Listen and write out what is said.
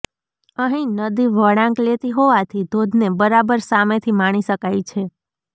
અહીં નદી વળાંક લેતી હોવાથી ધોધને બરાબર સામેથી માણી શકાય છે